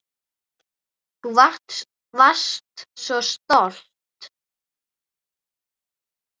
Þú varst svo stolt.